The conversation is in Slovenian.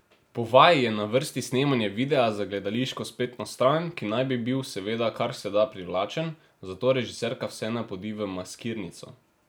Po vaji je na vrsti snemanje videa za gledališko spletno stran, ki naj bi bil seveda kar se da privlačen, zato režiserka vse napodi v maskirnico.